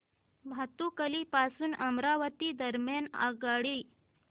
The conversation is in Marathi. भातुकली पासून अमरावती दरम्यान आगगाडी